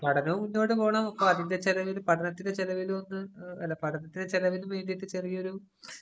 പഠനവും മുന്നോട്ടു പോണം. അതിന്‍റെ ചെലവില്, പഠനത്തിന്‍റെ ചെലവിലും അല്ല പഠനത്തിന്‍റെ ചെലവിനു വേണ്ടീട്ടു ചെറിയൊരു